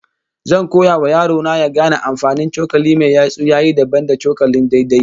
Zan koya wa yaro na ya gane amfanin cokali mai yatsu ya yi dabam da cokalin daidai